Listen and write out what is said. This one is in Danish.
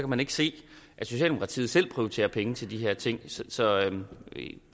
man ikke se at socialdemokratiet selv prioriterer penge til de her ting så så